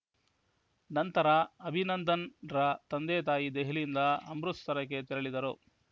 ನಂತರ ಅಭಿನಂದನ್‌ರ ತಂದೆತಾಯಿ ದೆಹಲಿಯಿಂದ ಅಮೃತಸರಕ್ಕೆ ತೆರಳಿದರು